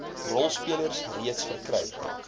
rolspelers reeds verkry